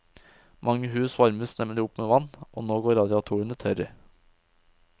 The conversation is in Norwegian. Mange hus varmes nemlig opp med vann, og nå går radiatorene tørre.